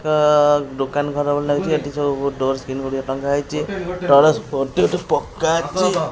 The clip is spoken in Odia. ଦୋକାନଘର ଭଳି ଲାଗୁଚି ଏଠି ସବୁ ଡୋର ଡୋର୍ ସ୍କ୍ରିନ ଗୁଡିକ ଟଙ୍ଗା ହେଇଚି ପକା ଅଛି।